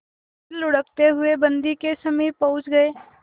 फिर लुढ़कते हुए बन्दी के समीप पहुंच गई